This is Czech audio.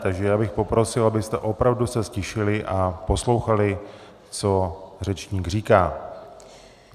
Takže já bych poprosil, abyste opravdu se ztišili a poslouchali, co řečník říká.